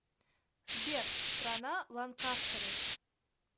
сбер страна ланкастеры